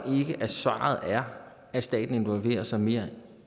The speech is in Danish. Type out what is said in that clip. ikke at svaret er at staten involverer sig mere